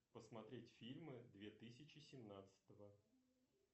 посмотреть фильмы две тысячи семнадцатого